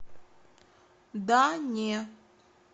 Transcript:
да не